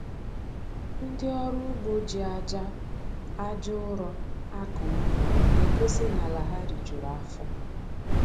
Ndị ọrụ ugbo ji aja aja ụrọ akọ ubi na-egosi n'ala ha rijuru afọ